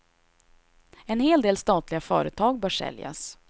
En hel del statliga företag bör säljas.